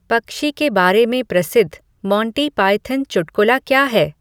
पक्षी के बारे में प्रसिद्ध मोंटी पायथन चुटकुला क्या है